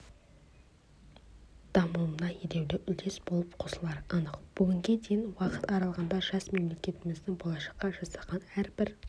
дамуына елеулі үлес болып қосылары анық бүгінге дейінгі уақыт аралығында жас мемлекетіміздің болашаққа жасаған әрбір